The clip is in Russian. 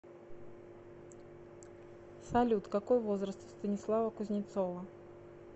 салют какой возраст у станислава кузнецова